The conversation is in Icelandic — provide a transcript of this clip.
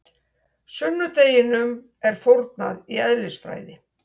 Sunnudeginum er fórnað í eðlisfræði.